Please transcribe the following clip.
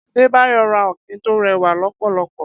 Adebayo rà ọ̀kín tó rẹwá lọpọlọpọ